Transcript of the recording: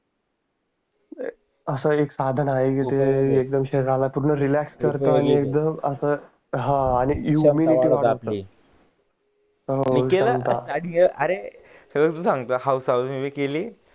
अस एकदम पूर्ण रीलॅक्स करतो आणि अस हा आणि उमिनीटी वाढते हो अरे केली